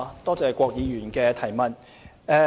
多謝郭議員的補充質詢。